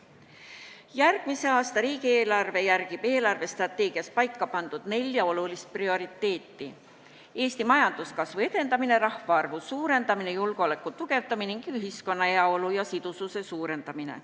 Järgmise aasta eelarve järgib riigi eelarvestrateegias paika pandud nelja olulist prioriteeti: Eesti majanduskasvu edendamine, rahvaarvu suurendamine, julgeoleku tugevdamine ning ühiskonna heaolu ja sidususe suurendamine.